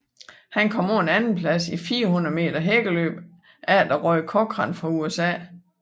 Han kom på en andenplads i 400 meter hækkeløb efter Roy Cochran fra USA